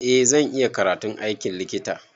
Eh zan iya karatun aikin likita.